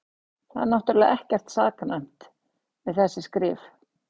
Það er náttúrlega ekkert saknæmt við þessi skrif.